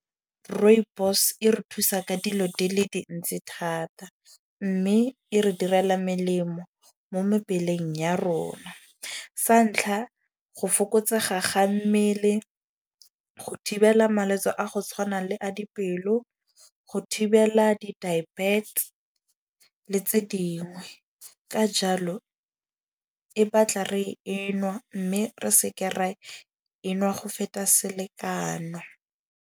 Rooibos e re thusa ka dilo di le dintsi thata. Mme e re direla melemo mo mebeleng ya rona. Sa ntlha, go fokotsega ga mmele go thibela malwetsi a go tshwana le a dipelo, go thibela di-diabetes le tse dingwe. Ka jalo e batla re e nwa mme re seke re e nwa go feta selekano.